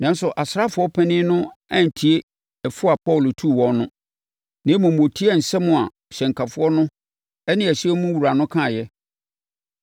Nanso, asraafoɔ panin no antie fo a Paulo tuu wɔn no, na mmom ɔtiee nsɛm a hyɛnkafoɔ no ne ɛhyɛn no wura kaeɛ no.